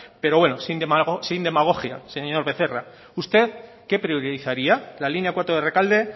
pero bueno sin demagogia señor becerra usted qué priorizaría la línea cuatro de rekalde